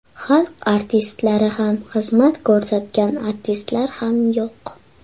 Xalq artistlari ham, xizmat ko‘rsatgan artistlar ham yo‘q.